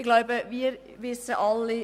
Ich glaube, wir wissen alle: